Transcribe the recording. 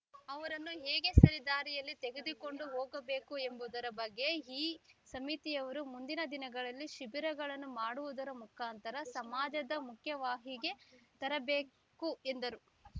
ಅವರನ್ನು ಹೇಗೆ ಸರಿದಾರಿಯಲ್ಲಿ ತೆಗೆದುಕೊಂಡು ಹೋಗಬೇಕು ಎಂಬುದರ ಬಗ್ಗೆ ಈ ಸಮಿತಿಯವರು ಮುಂದಿನ ದಿನಗಳಲ್ಲಿ ಶಿಬಿರಗಳನ್ನು ಮಾಡುವುದರ ಮುಖಾಂತರ ಸಮಾಜದ ಮುಖ್ಯವಾಹಿಗೆ ತರಬೇಕು ಎಂದರು